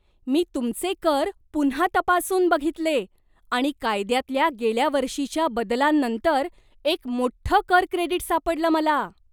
मी तुमचे कर पुन्हा तपासून बघितले आणि कायद्यातल्या गेल्या वर्षीच्या बदलांनंतर एक मोठ्ठं कर क्रेडिट सापडलं मला!